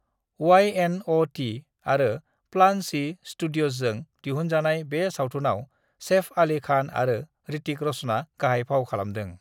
वाई .एन.अ'.टि आरो प्लान चि स्टुडियजजों दिहुनाजनाय बे सावथुनाव सेफ आलि खान आरो ऋतिक रश'ना गाहाय फाव खालामदों।